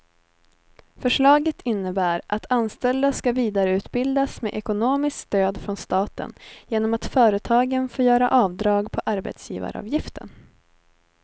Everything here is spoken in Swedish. Förslaget innebär att anställda ska vidareutbildas med ekonomiskt stöd från staten genom att företagen får göra avdrag på arbetsgivaravgiften.